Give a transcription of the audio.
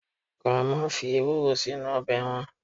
grandma fi ewuro sinu obe wan